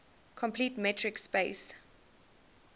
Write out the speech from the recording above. complete metric space